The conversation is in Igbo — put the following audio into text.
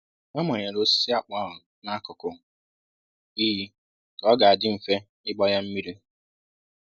A manyere osisi akpụ ahụ n'akụkụ iyi ka ọ ga-adị mfe ịgba ya mmiri